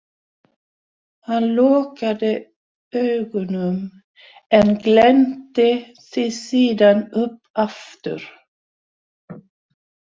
Hann lokaði augunum en glennti þau síðan upp aftur.